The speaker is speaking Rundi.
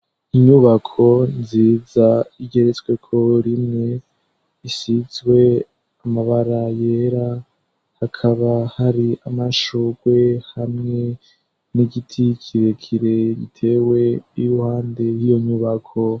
Inyubako nziza igeretsweko rimwe isizwe amabara yera hakaba hari amashurwe hamwe n'igiti kirekire gitewe iruhande y'iyonyubako.